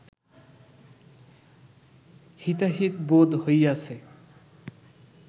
হিতাহিত বোধ হইয়াছে